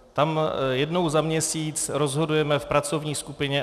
Tam jednou za měsíc rozhodujeme v pracovní skupině.